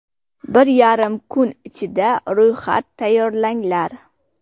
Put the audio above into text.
Bir yarim kun ichida ro‘yxat tayyorlanglar.